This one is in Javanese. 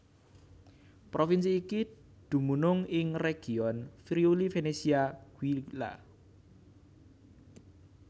Provinsi iki dumunung ing region Friuli Venezia Giulia